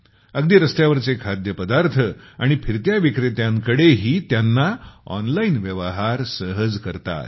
अगदी रस्त्यावरचे खाद्यपदार्थ आणि फिरत्या विक्रेत्यांकडेही त्यांनी ऑनलाइन व्यवहार सहज करता आले